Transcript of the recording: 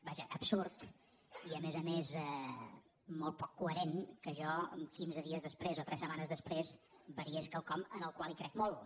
vaja absurd i a més a més molt poc coherent que jo quinze dies després o tres setma·nes després variés quelcom en què crec molt